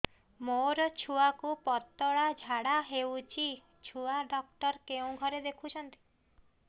ମୋର ଛୁଆକୁ ପତଳା ଝାଡ଼ା ହେଉଛି ଛୁଆ ଡକ୍ଟର କେଉଁ ଘରେ ଦେଖୁଛନ୍ତି